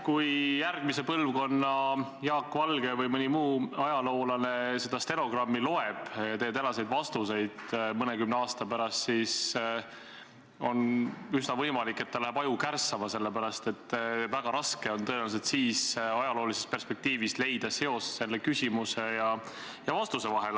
Kui järgmise põlvkonna Jaak Valge või mõni muu ajaloolane loeb tänast stenogrammi ja teie tänaseid vastuseid, mõnekümne aasta pärast, siis on üsna võimalik, et tal läheb aju kärssama, sellepärast et väga raske on tõenäoliselt siis, ajaloolises perspektiivis, leida seost küsimuse ja vastuse vahel.